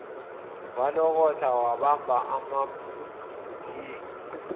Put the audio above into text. walokotha wabamba amabhuleki